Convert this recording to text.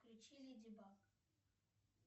включи леди баг